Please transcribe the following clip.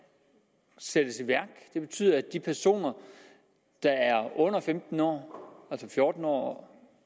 sættes i værk det betyder at de personer der er under femten år altså fjorten år